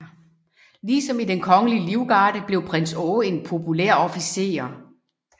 Ligesom i Den Kongelige Livgarde blev prins Aage en populær officer